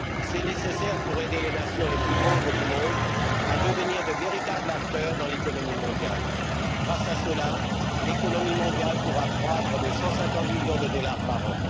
C'est nécessaire pour aider les nations les plus pauvres du monde à devenir de véritables acteurs dans l'économie mondiale. Grâce à cela, l'économie mondiale pourra croître de 150 millions de dollars par